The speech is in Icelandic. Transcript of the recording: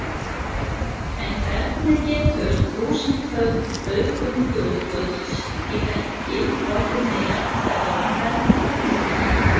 En hvernig getur þúsundföld auðgun gulls í bergi orðið með jarðfræðilegum ferlum?